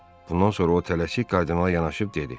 Bundan sonra o tələsik Kardinala yanaşıb dedi.